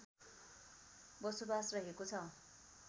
बसोबास रहेको छ